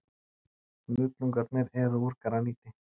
Hnullungarnir eru úr graníti.